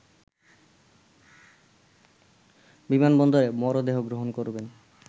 বিমানবন্দরে মরদেহ গ্রহণ করবেন